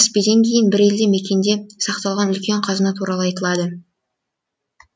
кіріспеден кейін бір елді мекенде сақталған үлкен қазына туралы айтылады